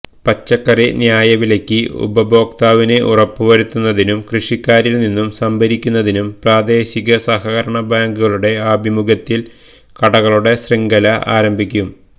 പച്ചക്കറി ന്യായവിലയ്ക്ക് ഉപഭോക്താവിന് ഉറപ്പുവരുത്തുന്നതിനും കൃഷിക്കാരില് നിന്നും സംഭരിക്കുന്നതിനും പ്രാദേശിക സഹകരണ ബാങ്കുകളുടെ ആഭിമുഖ്യത്തില് കടകളുടെ ശൃംഖല ആരംഭിക്കും